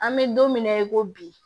An bɛ don min na i ko bi